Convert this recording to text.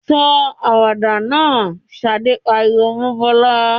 "Sọ àwàdà náà!" Ṣadé pariwo mọ́ Bọ́lá.